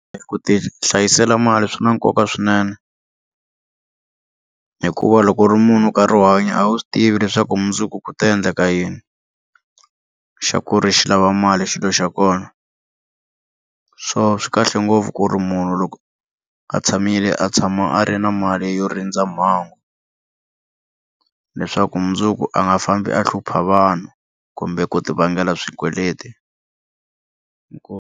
Ku ti hlayisela mali swi na nkoka swinene hikuva loko u ri munhu nkarhi wo hanya a wu swi tivi leswaku mundzuku ku ta endleka yini xa ku ri xi lava mali xilo xa kona swona swi kahle ngopfu ku ri munhu loko a tshamile a tshama a ri na mali yo rindza mhangu leswaku mundzuku a nga fambi a hlupha vanhu kumbe ku ti vangela swikweleti .